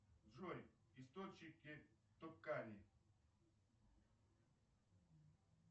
джой источники токари